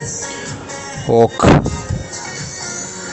ок